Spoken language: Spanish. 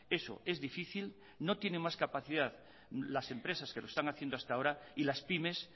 eso es difícil no tiene más capacidad las empresas que lo están haciendo hasta ahora y las pymes